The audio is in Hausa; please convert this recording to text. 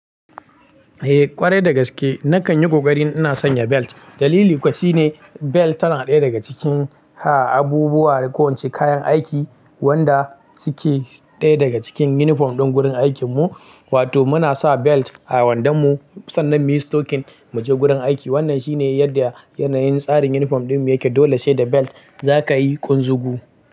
Eh ƙwarai dagaske nakan yi ƙoƙari ina sanya belt. Dalili ƙuwa shi ne, belt tana ɗaya daga cikin abubuwa na kayan aiki wanda suke ɗaya daga cikin yunifom din gurin aikin mu. Wato muna sa belt a wandon mu, sannan muyi stokin mu je gurin aiki. Wannan shine yadda yanayin tsarin yunifom din mu yake. Dole sai da belt zaka yi ƙunzugu.